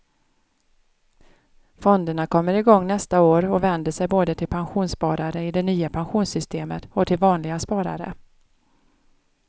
Fonderna kommer igång nästa år och vänder sig både till pensionssparare i det nya pensionssystemet och till vanliga sparare.